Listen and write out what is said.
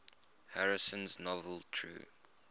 harrison's novel true